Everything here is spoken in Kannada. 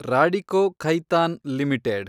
ರಾಡಿಕೋ ಖೈತಾನ್ ಲಿಮಿಟೆಡ್